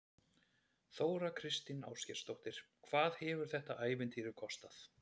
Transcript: Þóra Kristín Ásgeirsdóttir: Hvað hefur þetta ævintýri kostað?